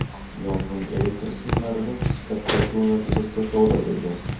Yong‘in elektr simlarining qisqa tutashuvi natijasida sodir bo‘lgan.